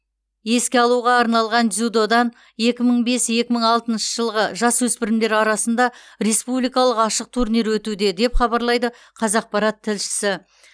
еске алуға арналған дзюдодан екі мың бес екі мың алтыншы жылғы жасөспірімдер арасында республикалық ашық турнир өтуде деп хабарлайды қазақпарат тілшісі